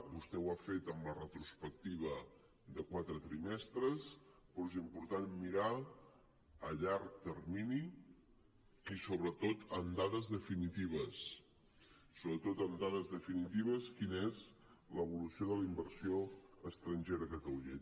vostè ho ha fet amb la retrospectiva de quatre trimestres però és important mirar a llarg termini i sobretot amb dades definitives sobretot amb dades definitives quina és l’evolució de la inversió estrangera a catalunya